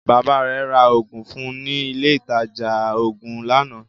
Baba rẹ̀ ra Ògùn fún ní ilé ìtajà oògùn lánàá